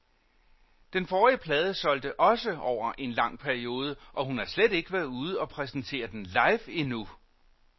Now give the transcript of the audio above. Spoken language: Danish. Den forrige plade solgte også over en lang periode, og hun har slet ikke været ude og præsentere den live endnu.